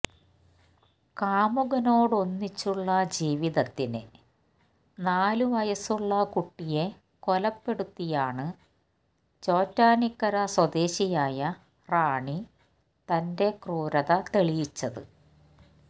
കാമുകനോടൊന്നിച്ചുള്ള ജീവിതത്തിന് നാല് വയസുള്ള കുട്ടിയെ കൊലപ്പെടുത്തിയാണ് ചോറ്റാനിക്കര സ്വദേശിയായ റാണി തന്റെ ക്രൂരത തെളിയിച്ചത്